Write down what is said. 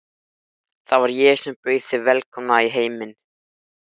Það var ég sem bauð þig velkomna í heiminn.